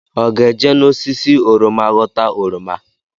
Ọ ga-eje n’osisi oroma ghọta oroma?